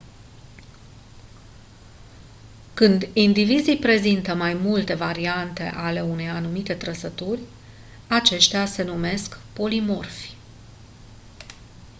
când indivizii prezintă mai multe variante ale unei anumite trăsături aceștia se numesc polimorfi